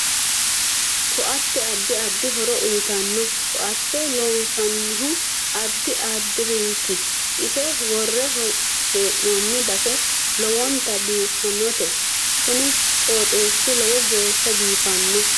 Ko'atte addi addi horo uyiitanno ko'atte loonsanihu addi addiriiti ise worre heenooni base lowonta biifanote kuni qooxeesi lowo geesha biifanno